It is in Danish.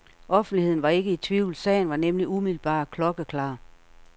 Offentligheden var ikke i tvivl, sagen var nemlig umiddelbar klokkeklar.